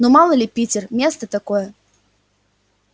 ну мало ли питер место такое